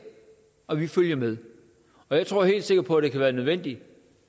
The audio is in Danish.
og at vi følger med jeg tror helt sikkert på at det kan være nødvendigt